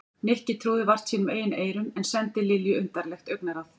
Nikki trúði vart sínum eigin eyrum en sendi Lilju undarlegt augnaráð.